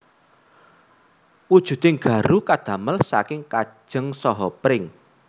Wujuding garu kadamel saking kajeng saha pring